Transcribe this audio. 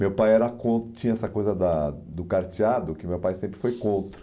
Meu pai era con tinha essa coisa da do carteado, que meu pai sempre foi contra.